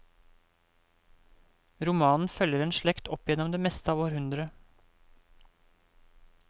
Romanen følger en slekt opp gjennom det meste av århundret.